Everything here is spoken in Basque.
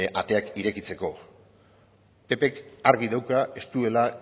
ateak irekitzeko ppk argi dauka ez duela